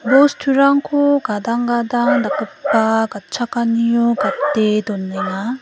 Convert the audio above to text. bosturangko gadang gadang dakgipa gatchakanio gate donenga.